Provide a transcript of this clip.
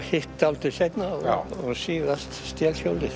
hitt dálítið seinna og síðast